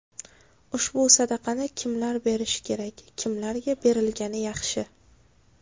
Ushbu sadaqani kimlar berishi kerak, kimlarga berilgani yaxshi?